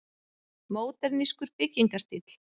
Módernískur byggingarstíll.